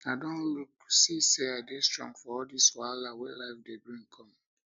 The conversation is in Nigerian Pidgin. i don look see say i dey strong for all dis wahala wey life dey bring come